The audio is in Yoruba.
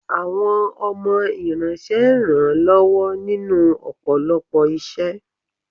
Àwọn ọmọ iranṣé ń ran lọwọ ninu ọpọlọpọ iṣẹ